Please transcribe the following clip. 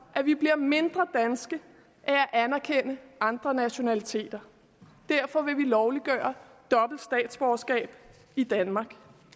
at vi bliver mindre danske af at anerkende andre nationaliteter derfor vil vi lovliggøre dobbelt statsborgerskab i danmark